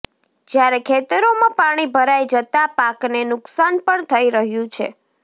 જ્યારે ખેતરોમાં પાણી ભરાઈ જતાં પાકને નુકશાન પણ થઈ રહ્યું છે